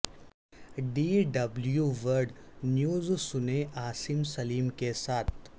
D W world news سنئے عاصم سلیم کے ساتھ